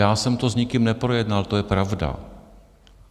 Já jsem to s nikým neprojednal, to je pravda.